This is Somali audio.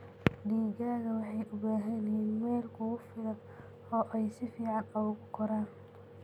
Digaagga waxay u baahan yihiin meel ku filan oo ay si fiican ugu koraan.